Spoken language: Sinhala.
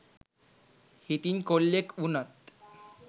හිතින් කොල්ලෙක් උනත්